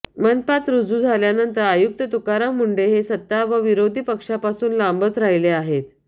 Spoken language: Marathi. मनपात रुजू झाल्यानंतर आयुक्त तुकाराम मुंढे हे सत्ता व विरोधी पक्षापासून लांबच राहिले आहेत